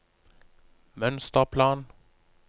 mønsterplan